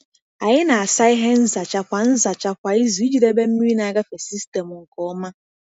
Anyị na-asa ihe nzacha kwa nzacha kwa izu iji debe mmiri na-agafe sistemụ nke ọma.